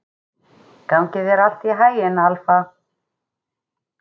Gangi þér allt í haginn, Alfa.